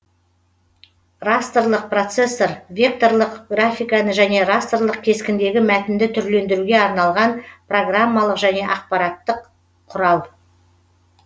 растрлық процессор векторлық графиканы және растрлық кескіндегі мәтінді түрлендіруге арналған программалық жөне ақпараттық құрал